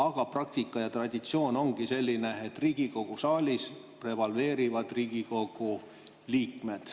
Aga praktika ja traditsioon ongi selline, et Riigikogu saalis prevaleerivad Riigikogu liikmed.